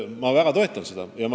Ma väga toetan seda.